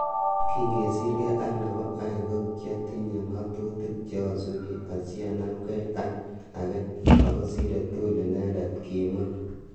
Kingesirgei ak nebo ain ko kiatinye ngatutik che asubi asianamgei ak agei , ako sire tugul inendet." kimwaa.